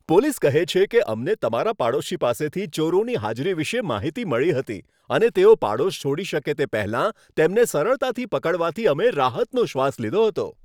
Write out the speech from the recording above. Police કહે છે કે, અમને તમારા પાડોશી પાસેથી ચોરોની હાજરી વિશે માહિતી મળી હતી અને તેઓ પાડોશ છોડી શકે તે પહેલાં તેમને સરળતાથી પકડવાથી અમને રાહતનો શ્વાસ લીધો હતો.